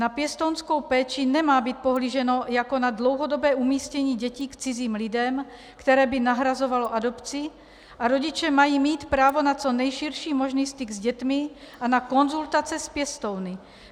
Na pěstounskou péči nemá být pohlíženo jako na dlouhodobé umístění dětí k cizím lidem, které by nahrazovalo adopci, a rodiče mají mít právo na co nejširší možný styk s dětmi a na konzultace s pěstouny.